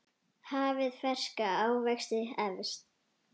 Hafið ferska ávexti efst.